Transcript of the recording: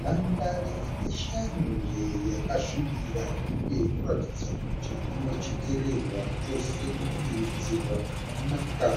Nhandara ineshanje yakasvibira uye inoratidza kuti inochekererwa chose nekudiridzirwa zvakanaka.